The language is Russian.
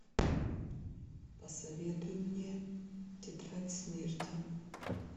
посоветуй мне тетрадь смерти